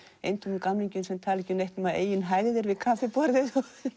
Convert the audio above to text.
eintómum gamlingjum sem tala ekki um neitt nema eigin hægðir við kaffiborðið